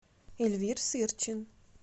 эльвир сырчин